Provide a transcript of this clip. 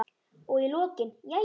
Og í lokin: Jæja.